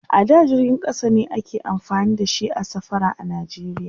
a da jirgin ƙasa ne ake amfani da shi a safara a nigeria